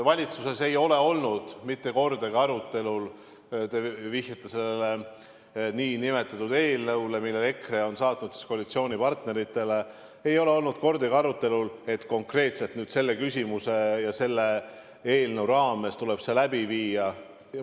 Valitsuses ei ole olnud mitte kordagi arutelul – te vihjate sellele nn eelnõule, mille EKRE on saatnud koalitsioonipartneritele –, ei ole olnud kordagi arutelul, et konkreetselt selles küsimuses ja selle eelnõuga seoses tuleb rahvahääletus läbi viia.